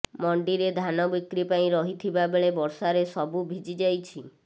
ମଣ୍ଡିରେ ଧାନ ବିକ୍ରି ପାଇଁ ରହିଥିବା ବେଳେ ବର୍ଷାରେ ସବୁ ଭିଜି ଯାଇଛି